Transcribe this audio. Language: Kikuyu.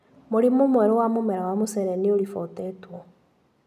Mũrimũ mwerũ wa mũmera wa mũcere nĩũribotetwo.